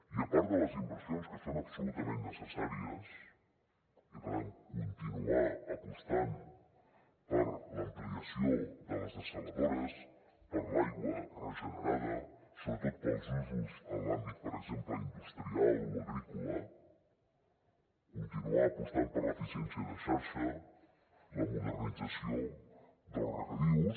i a part de les inversions que són absolutament necessàries i per tant continuar apostant per l’ampliació de les dessaladores per l’aigua regenerada sobretot pels usos en l’àmbit per exemple industrial o agrícola continuar apostant per l’eficiència de xarxa la modernització dels regadius